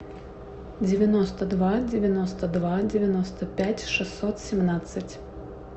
девяносто два девяносто два девяносто пять шестьсот семнадцать